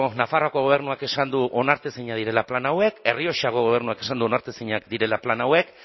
nafarroako gobernuak esan du onartezinak direla plan hauek errioxako gobernuak esan du onartezinak direla plan hauek